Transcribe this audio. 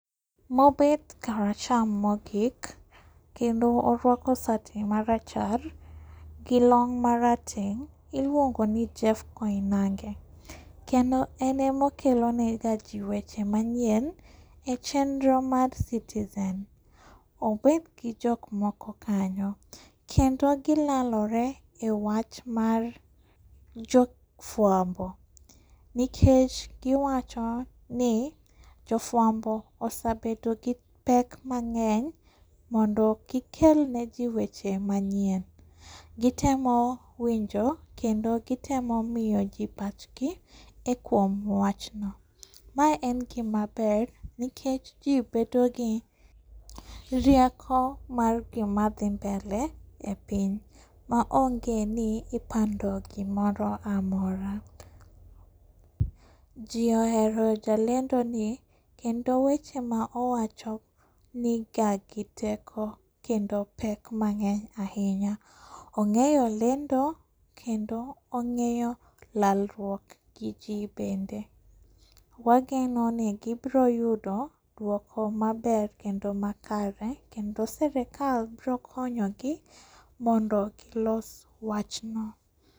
Mobet kar acham mogik, kendo oruako sati marachar gi long' marateng' iluongoni Jeff Koinange, kendo en emokelonega jii weche manyien e chenro mar citizen. Obedgi jokmoko kanyo, kendo gilalore e wach mar jofuambo, nikech giwachoni jofuambo osebedogi pek mang'eny mondo gikelne jii weche manyien. Gitemo winjo kendo gitemo miyo jii pachgi e kuom wachno. Mae en gimaber nikech jii bedogi rieko mar gima dhi mbele e piny, maonge ni ipando gimoro amora. Jii ohero jalendoni, kendo weche ma owacho niga gi teko kendo pek mang'eny ahinya. Ong'eyo lendo, kendo ong'eyo lalruok gi jii bende. Wagenoni gibiroyudo duoko maber kendo makare kendo sirikal biro konyogi mondo gilos wachno.